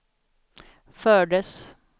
fördes